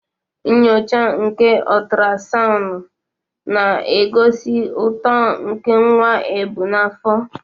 Nnyocha nke otrasicanu na-egosi uto nke nwa ebu n'afọ.